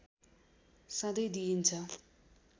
सँधै दिइन्छ